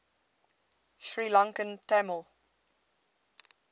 sri lankan tamil